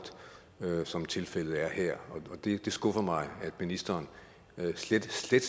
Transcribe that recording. som tilfældet er her og det skuffer mig at ministeren slet slet